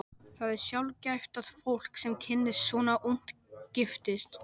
Það er sjaldgæft að fólk, sem kynnist svona ungt, giftist.